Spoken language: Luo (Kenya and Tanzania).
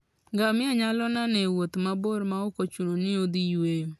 Ngamia nyalo nano e wuoth mabor maok ochuno ni odhi yueyo.